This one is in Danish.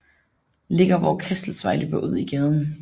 Ligger hvor Kastelsvej løber ud i gaden